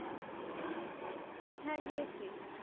হ্যাঁ গিয়েছি।